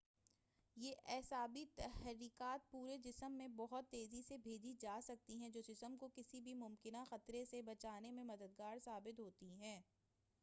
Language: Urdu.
یہ اعصابی تحریکات پورے جسم میں بہت تیزی سے بھیجی جا سکتی ہیں جو جسم کو کسی بھی ممکنہ خطرے سے بچانے میں مددگار ثابت ہوتی ہیں